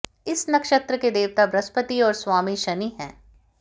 इस नक्षत्र के देवता बृहस्पति और स्वामी शनि हैं